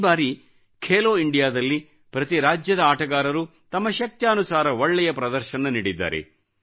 ಈ ಬಾರಿ ಖೇಲೋ ಇಂಡಿಯಾ ದಲ್ಲಿ ಪ್ರತಿ ರಾಜ್ಯದ ಆಟಗಾರರು ತಮ್ಮ ಶಕ್ತ್ಯಾನುಸಾರ ಒಳ್ಳೆಯ ಪ್ರದರ್ಶನ ನೀಡಿದ್ದಾರೆ